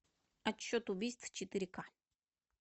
отчет убийств четыре к